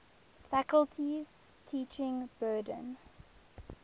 faculty's teaching burden